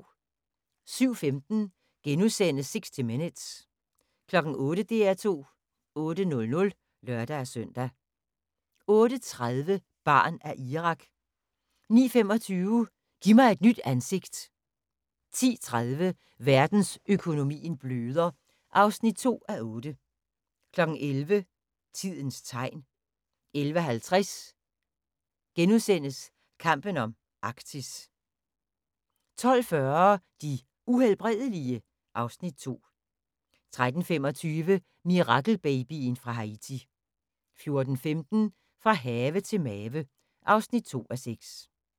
07:15: 60 Minutes * 08:00: DR2 8:00 (lør-søn) 08:30: Barn af Irak 09:25: Giv mig et nyt ansigt 10:30: Verdensøkonomien bløder (2:8) 11:00: Tidens Tegn 11:50: Kampen om Arktis * 12:40: De Uhelbredelige? (Afs. 2) 13:25: Mirakelbabyen fra Haiti 14:15: Fra have til mave (2:6)